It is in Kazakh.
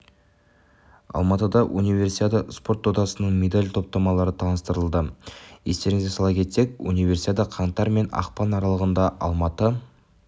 алматыда универсиада спорт додасының медаль топтамалары таныстырылды естеріңізге сала кетсек универсиада қаңтар мен ақпан аралығында алматы